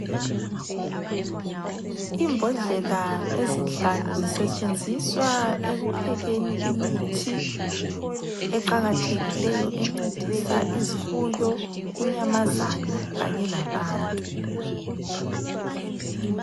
Imbodlela ezinhlanu zisetshenziswa ekuphekeni imithi, eqakathekileyo encedisa izifuyo, inyamazana kanye labantu.